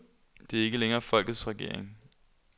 Det er ikke længere folkets regering.